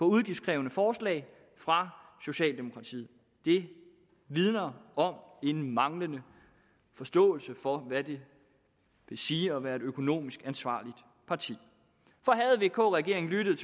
udgiftskrævende forslag fra socialdemokratiet det vidner om en manglende forståelse for hvad det vil sige at være et økonomisk ansvarligt parti for havde vk regeringen lyttet